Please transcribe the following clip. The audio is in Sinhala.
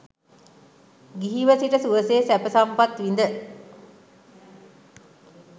ගිහිව සිට සුවසේ සැප සම්පත් විඳ